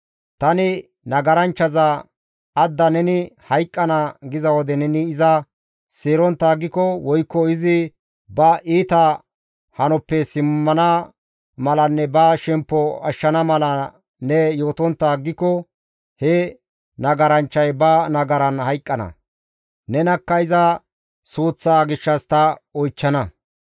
Tani nagaranchchaza, ‹Adda neni hayqqana› giza wode neni iza seerontta aggiko woykko izi ba iita hanoppe simmana malanne ba shemppo ashshana mala ne yootontta aggiko he nagaranchchay ba nagaran hayqqana; nenakka iza suuththaa gishshas ta oychchana.